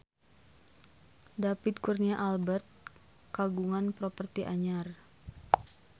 David Kurnia Albert kagungan properti anyar